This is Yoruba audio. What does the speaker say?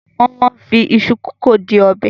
Wọ́n máa ń fi iṣu kòkó di ọbẹ̀.